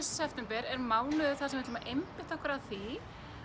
september er mánuður þar sem við ætlum að einbeita okkur að því